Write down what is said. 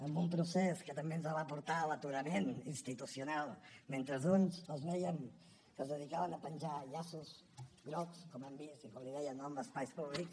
en un procés que també ens va portar a l’aturament institucional mentre uns els vèiem que es dedicaven a penjar llaços grocs com hem vist i com li deia no en espais públics